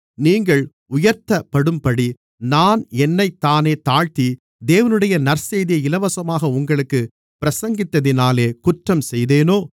நீங்கள் உயர்த்தப்படும்படி நான் என்னைத்தானே தாழ்த்தி தேவனுடைய நற்செய்தியை இலவசமாக உங்களுக்குப் பிரசங்கித்ததினாலே குற்றம் செய்தேனோ